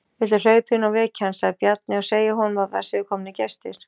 Viltu hlaupa inn og vekja hann, sagði Bjarni,-og segja honum að það séu komnir gestir.